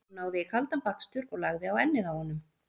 Hún náði í kaldan bakstur og lagði á ennið á honum.